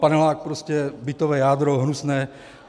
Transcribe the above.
Panelák - prostě bytové jádro hnusné.